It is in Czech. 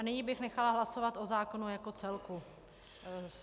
A nyní bych nechala hlasovat o zákonu jako celku.